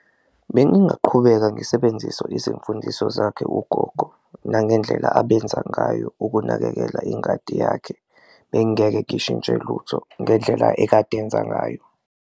Bengingaqhubeka ngisebenzise izimfundiso zakhe ugogo nangendlela abenza ngayo ukunakekela ingadi yakhe, bengeke ngishintshe lutho ngendlela ekade enza ngayo.